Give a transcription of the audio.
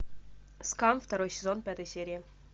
скам второй сезон пятая серия